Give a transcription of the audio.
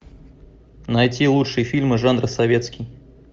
найти лучшие фильмы жанра советский